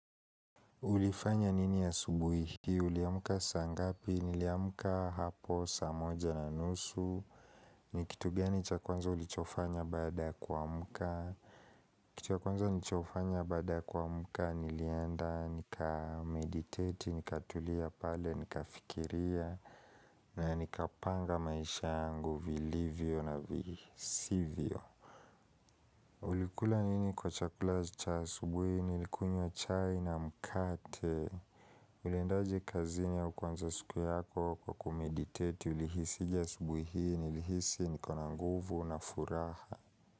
Ulifanya nini asubuhi hii, uliamuka saa ngapi, niliamuka hapo saa moja na nusu, nikitu gani cha kwanza ulichofanya baada kua mka, kitu ya kwanza nilichofanya baada kua mka, nilienda, nikameditate, nikatulia pale, nikafikiria, na nikapanga maisha yangu, vilivyo na visivyo. Ulikula nini kwa chakula cha asubuhi nilikunywa chai na mkate Uliendaje kazini au kuanza siku yako kwa kumeditate ulihisi je asubuhi hii ni lihisi ni kona nguvu na furaha.